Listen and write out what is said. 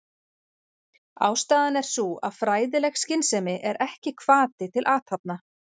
Ástæðan er sú að fræðileg skynsemi er ekki hvati til athafna.